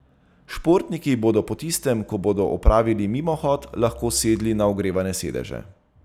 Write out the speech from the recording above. Športniki bodo po tistem, ko bodo opravili mimohod, lahko sedli na ogrevane sedeže.